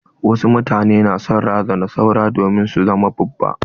Wasu mutane na son razanar saura domin su zama babba.